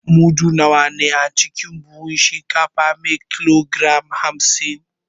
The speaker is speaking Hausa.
Mudu nawa ne a cikin buhun shinkafa me kilogram hamsin?